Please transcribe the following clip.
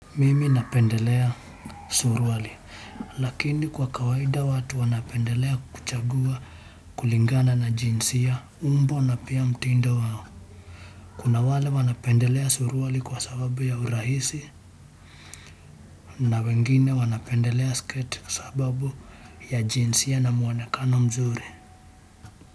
Mimi napendelea suruali. Lakini kwa kawaida watu wanapendelea kuchagua kulingana na jinsia umbo na pia mtindo wao. Kuna wale wanapendelea suruali kwa sababu ya urahisi na wengine wanapendelea sketi kwa sababu ya jinsia na mwonekano mzuri.